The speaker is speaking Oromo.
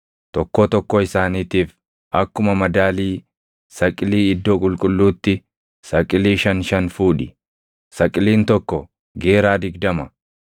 tokkoo tokkoo isaaniitiif akkuma madaalii saqilii iddoo qulqulluutti saqilii shan shan fuudhi; saqiliin tokko geeraa digdama.